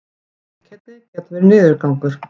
einkennin geta verið niðurgangur